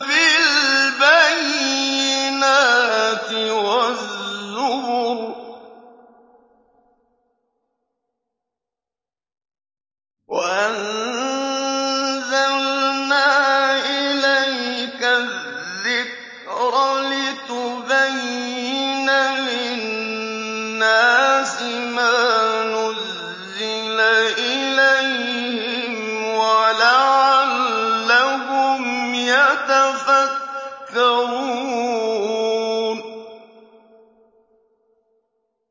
بِالْبَيِّنَاتِ وَالزُّبُرِ ۗ وَأَنزَلْنَا إِلَيْكَ الذِّكْرَ لِتُبَيِّنَ لِلنَّاسِ مَا نُزِّلَ إِلَيْهِمْ وَلَعَلَّهُمْ يَتَفَكَّرُونَ